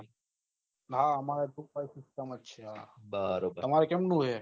હા આમરે group વાઈજ system જ છે તમારે કેમનુ હે